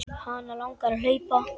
Hana langar að hlaupa.